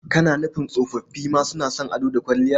Kana nufin tsofoffi ma suna son ado da kwalliya?